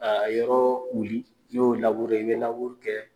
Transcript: a yɔrɔ wuli n'i y'o i bɛ kɛ.